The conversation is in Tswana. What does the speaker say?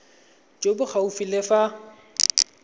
jo bo gaufi le fa